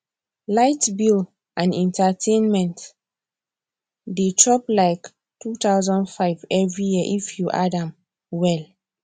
light bill and entertainment dey chop like 2500 every year if you add am well